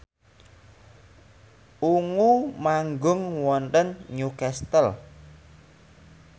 Ungu manggung wonten Newcastle